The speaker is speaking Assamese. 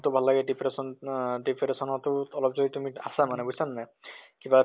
তো ভাল লাগে depression আহ depression তো অলপ যদি তুমি আছা মানে বুজিছা নে নাই? কিবা